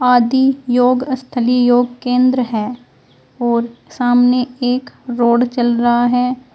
आदि योगस्थली योग केंद्र है और सामने एक रोड चल रहा है।